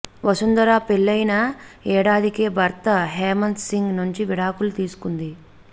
వసుంధర పెళ్లయిన ఏడాదికే భర్త హేమంత్ సింగ్ నుంచి విడాకులు తీసుకుంది